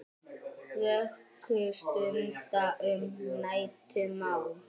Vöku stunda um nætur má.